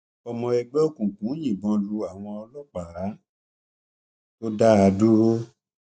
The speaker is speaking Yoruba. ọmọ ẹgbẹ òkùnkùn yìnbọn lu àwọn ọlọpàá tó dá a dúró